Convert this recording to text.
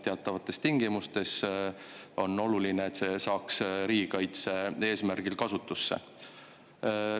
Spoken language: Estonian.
Teatavates tingimustes on oluline, et seda saaks riigikaitse eesmärgil kasutada.